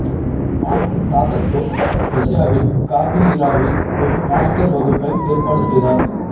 mark Dacascos ரஷ்யாவில் காபீயிராவில் ஒரு மாஸ்டர் வகுப்பை ஏற்பாடு செய்தார்